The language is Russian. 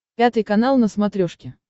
пятый канал на смотрешке